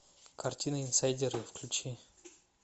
картина инсайдеры включи